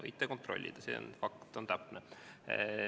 Võite kontrollida, see on fakt.